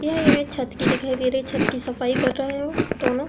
यह इमेज छत की दिखाई दे रही है। छत की सफाई कर रहे हो दोनों।